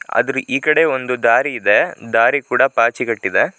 ಅದ್ರ ಈ ಕಡೆ ಒಂದು ದಾರಿ ಇದೆ. ದಾರಿ ಕೂಡ ಪಾಚಿಗಟ್ಟಿದೆ.